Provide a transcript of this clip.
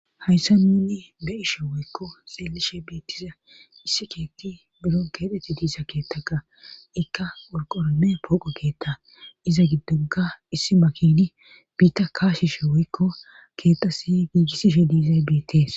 hayssa ninni be ishe woykko xeellishe biittiza issi keetti biron keeteti diisa keettaka ikka urqorome pooqo keetta iza giddugga issi makidi biitta kaashishe woykko keexasi giigissishe diizay biitees